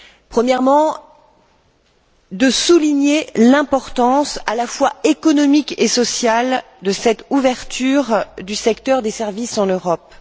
Premièrement, souligner l'importance à la fois économique et sociale de cette ouverture du secteur des services en Europe.